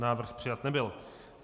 Návrh přijat nebyl.